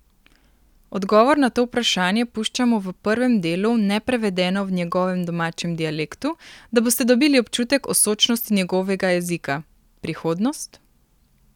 Odgovor na to vprašanje puščamo v prvem delu neprevedeno v njegovem domačem dialektu, da boste dobili občutek o sočnosti njegovega jezika: 'Prihodnost?